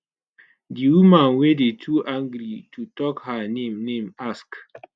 di woman wey dey too angry to tok her name name ask